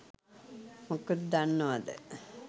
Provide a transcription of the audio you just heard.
මොකද දන්නවද